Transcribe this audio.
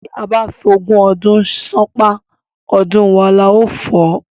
Tía bá f'ogún ọdún ṣán’pá, ọdún wo la ó fò?